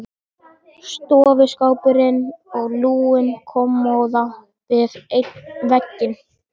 Stofuskápurinn og lúin kommóða við einn vegginn.